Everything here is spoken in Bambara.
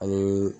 Ani